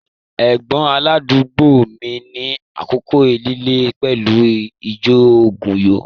Ẹ̀gbọ́n aládùúgbò mi ní àkókò líle pẹ̀lú ìjoògùnyó